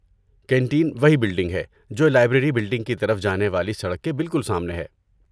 Canteen وہی building ہے جو لائبریری بلڈنگ کی طرف جانے والی سڑک کے بالکل سامنے ہے۔